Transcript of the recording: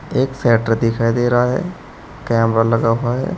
एक शटर दिखाई दे रहा है कैमरा लगा हुआ दिख रहा है।